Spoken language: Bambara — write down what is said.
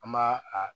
An m'a a